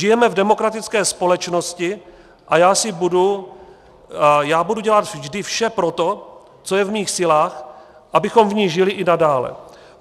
Žijeme v demokratické společnosti a já budu dělat vždy vše pro to, co je v mých silách, abychom v ní žili i nadále.